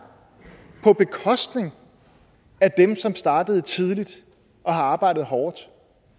på bekostning af dem som er startet tidligt og har arbejdet hårdt